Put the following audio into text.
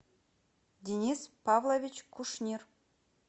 денис павлович кушнир